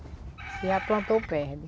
Se já plantou, perde.